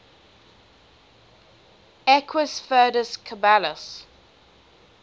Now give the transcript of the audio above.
equus ferus caballus